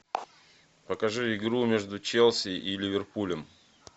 покажи игру между челси и ливерпулем